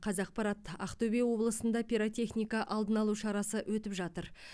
қазақпарат ақтөбе облысында пиротехника алдын алу шарасы өтіп жатыр